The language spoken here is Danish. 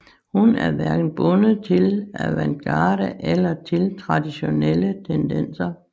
Hun er hverken bundet til avantgarde eller til traditionelle tendenser